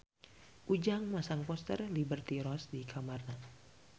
Ujang masang poster Liberty Ross di kamarna